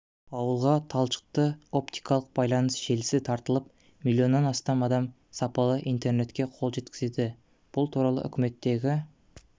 ауылға талшықты-оптикалық байланыс желісі тартылып миллионнан астам адам сапалы интернетке қол жеткізеді бұл туралы үкіметтегі